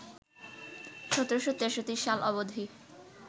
১৭৬৩ সাল অবধি